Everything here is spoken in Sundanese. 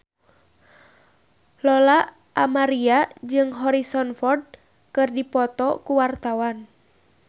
Lola Amaria jeung Harrison Ford keur dipoto ku wartawan